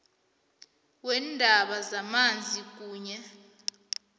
weendaba zamanzi kunye